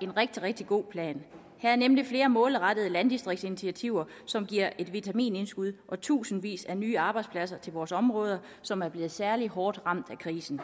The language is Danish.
en rigtig rigtig god plan her er nemlig flere målrettede landdistriktsinitiativer som giver et vitamintilskud og tusindvis af nye arbejdspladser til vores områder som er blevet særligt hårdt ramt af krisen